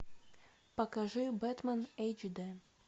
покажи бэтмен эйч д